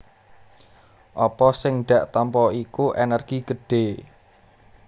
Apa sing dak tampa iku ènèrgi gedhé